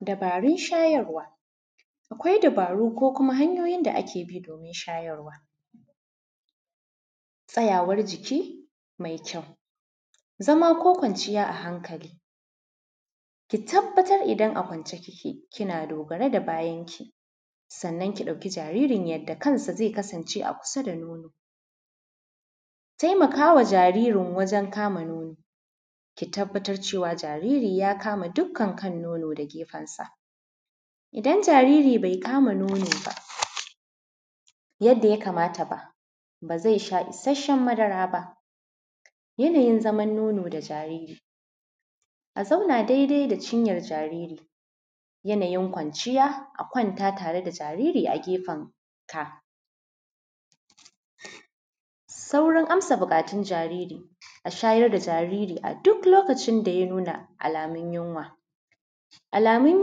dabarun shayarwa akwai dabaru ko hanyoyin da ake bi domin shayarwa, tsayawar jiki mai kyau, zama ko kwanciya a haŋkali, ki tabbatar in a kwanke, kina dogare da bayanki sannan ki ɗauki jaririn yadda kan shi ze kasance kusa da nonon. Taimaka wa jariri wajen kama nonon, ki tabbatar wa cewa jaririn ya kama dukka kan nonon da gefen sa, idan jariri ba ya kama nonon ba yadda ya kamata ba, ba ze sha ishashen madara ba. Yanayin zaman nono da jariri: a zauna dai-dai da jariri, yanayin kwanchiya: a kwanta tare da jariri a gefenka saurin amsar buƙatun jariri: a shayar da jariri a duk lokacin da ya nuna alamun yunwa. Alamun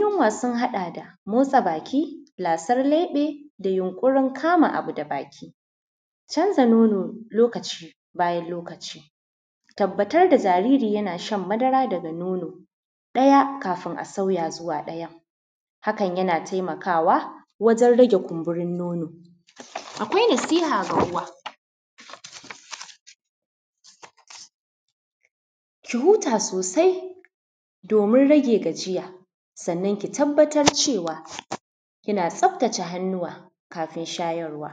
yunwa sun haɗa da motsa baki, lasar leɓe, da yunƙurin kama abu da baki, canza nono lokaci bayan lokaci, tabbatar da jariri yana shan madara daga nono ɗaya kafin a sauya zuwa ɗaya. Haka ze taimaka wajen rage kunburin nono, akwai nasiha ga uwa: ki huta sosai domin rage gajiya, sannan ki tabbatar cewa kina tsaftace hannuwa kafin shayarwa.